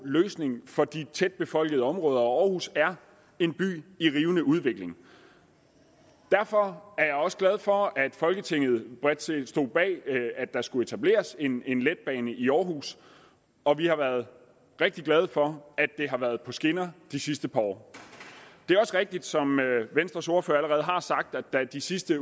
løsning for tætbefolkede områder og aarhus er en by i en rivende udvikling derfor er jeg også glad for at folketinget bredt set stod bag at der skulle etableres en en letbane i aarhus og vi har været rigtig glade for at det har været på skinner de sidste par år det er også rigtigt som venstres ordfører allerede har sagt at da de sidste